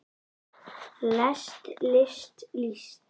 lest list líst